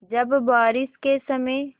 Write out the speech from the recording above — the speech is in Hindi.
जब बारिश के समय